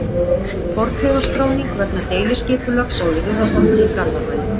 Fornleifaskráning vegna deiliskipulags á Urriðaholti í Garðabæ.